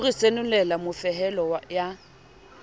ho re senolela mofehelo ya